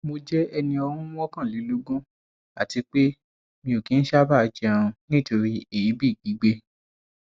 mo jẹ ẹni ọún mọkànlélógún àti pé mi ò kih ń sáábà jẹun nítorí èébì gbígbé